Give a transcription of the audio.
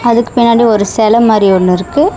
அதற்கு பின்னாடி ஒரு செல மாரி ஒன்னு இருக்கு.